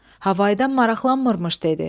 Havadan maraqlanmırmış deyirdi.